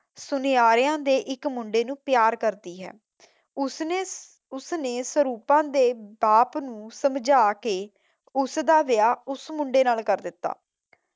ਸੁਨਿਆਰੋ ਦੇ ਇੱਕ ਮੁੰਡੇ ਨੂੰ ਪਿਆਰ ਕਰਦੀ ਹੈ ਉਸਨੇ ਸੁਰੂਪਾ ਦੇ ਬਾਪ ਨੂੰ ਸਮਝਾਂ ਕੇ ਉਸ ਦਾ ਵਿਆਹ ਉਸ ਮੁੰਡੇ ਨਾਲ ਕਰ ਦਿੱਤਾ।